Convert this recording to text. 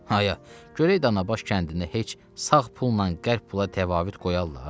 Ayya, görək Danabaş kəndində heç sağ pulla qəlp pula təvafüt qoyarlar?